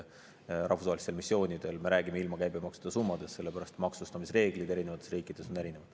Rahvusvaheliste missioonide puhul me räägime ilma käibemaksuta summadest, sellepärast et maksustamisreeglid on erinevates riikides erinevad.